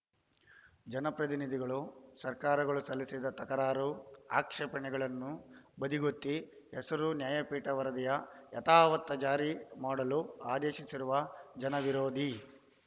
ಜನಪ್ರತಿನಿದಿಗಳು ಸರ್ಕಾರಗಳು ಸಲ್ಲಿಸಿದ್ದ ತಕರಾರು ಆಕ್ಷೇಪಣೆಗಳನ್ನು ಬದಿಗೊತ್ತಿ ಹಸಿರು ನ್ಯಾಯಪೀಠ ವರದಿಯ ಯಥಾವತ್‌ ಜಾರಿ ಮಾಡಲು ಆದೇಶಿಸಿರುವ ಜನವಿರೋಧಿ